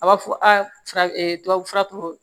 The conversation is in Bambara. A b'a fɔ aa tubabu fura tɔ